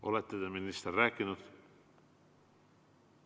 Olete te, minister, rääkinud?